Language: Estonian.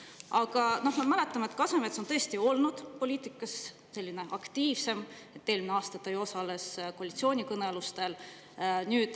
Aga me mäletame, et Kasemets on olnud poliitikas ka aktiivsem, eelmine aasta ta ju osales koalitsioonikõnelustel.